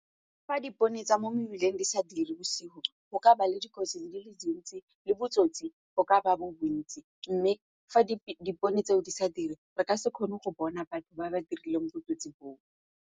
Fa dipone tsa mo mebileng di sa dire bosigo go ka ba le dikotsi di le dintsi le botsotsi go ka ba bo bontsi mme fa dipone tseo di sa dire re ka se kgone go bona batho ba ba dirileng botsotsi bo.